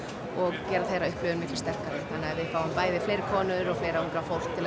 og gera þeirra upplifun mikið sterkari þannig að við fáum bæði fleiri konur og fleira ungt fólk til að